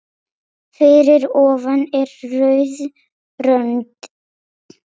Fyrir ofan er rauð rönd.